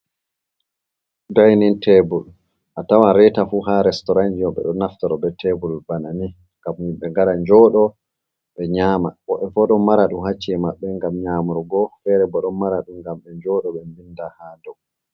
Dainin tebul. A tawan reeta fu haa restorant ji mai, ɓe ɗo naftora bee tebul bana ni, ngam himɓe ngara jooɗo ɓe nƴama. Woɓɓe bo ɗon mara ɗum haa saare maɓɓe ngam nƴamurgo. Feere bo ɗon mara ɗum ngam ɓe joodo ɓe winda haa dow.